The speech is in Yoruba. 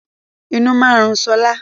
Inú máa ń rùn sọlá